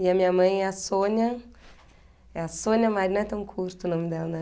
E a minha mãe é a Sônia, é a Sônia Maria, não é tão curto o nome dela, né?